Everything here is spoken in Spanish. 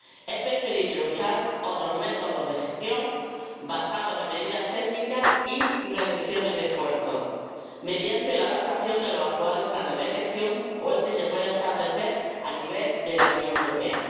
Es preferible usar otros métodos de gestión basados en medidas técnicas y reducciones de esfuerzo mediante la adaptación de los actuales planes de gestión o el que se pueda establecer a nivel de la Unión Europea.